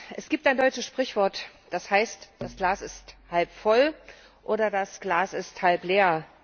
Es gibt ein deutsches Sprichwort, das heißt Das Glas ist halb voll oder das Glas ist halb leer.